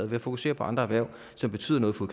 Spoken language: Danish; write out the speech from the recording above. ved at fokusere på andre erhverv som betyder noget for